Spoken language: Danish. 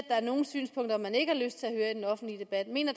er nogle synspunkter man ikke har lyst til at høre i den offentlige debat mener